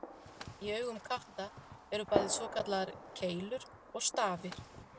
Í augum katta eru bæði svokallaðar keilur og stafir.